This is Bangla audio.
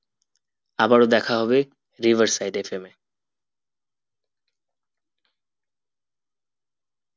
আবার ও দেখা হবে riversideFM এ